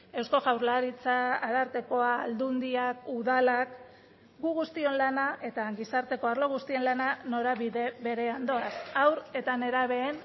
eusko jaurlaritza arartekoa aldundiak udalak gu guztion lana eta gizarteko arlo guztien lana norabide berean doaz haur eta nerabeen